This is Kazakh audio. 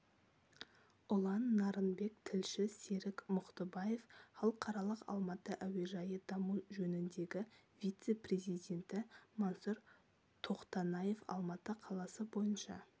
ұлан нарынбек тілші серік мұхтыбаев халықаралық алматы әуежайы даму жөніндегі вице-президенті мансұр тоқтанаев алматы қаласы бойынша